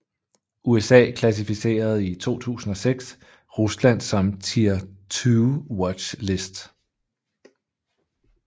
USA klassificerede i 2006 Rusland som Tier 2 Watch list